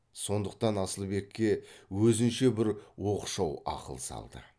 сондықтан асылбекке өзінше бір оқшау ақыл салды